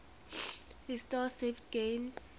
restore saved games